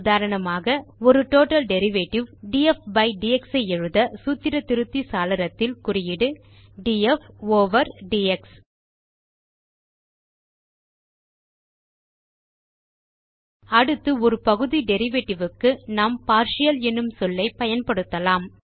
உதாரணமாக ஒரு total derivative d f by d x ஐ எழுத சூத்திர திருத்தி சாளரத்தில் குறியீடு டிஎஃப் ஓவர் டிஎக்ஸ் அடுத்து ஒரு பகுதி டெரிவேட்டிவ் க்கு நாம் பார்ட்டியல் என்னும் சொல்லை பயன்படுத்தலாம்